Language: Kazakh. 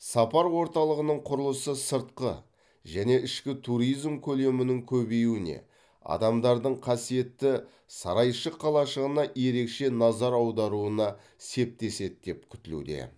сапар орталығының құрылысы сыртқы және ішкі туризм көлемінің көбеюіне адамдардың қасиетті сарайшық қалашығына ерекше назар аударуына септеседі деп күтілуде